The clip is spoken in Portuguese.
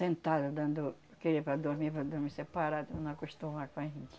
Sentada, dando... porque era para dormir, para dormir separado, para não acostumar com a gente.